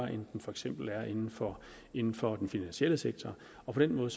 end den for eksempel er inden for inden for den finansielle sektor og på den måde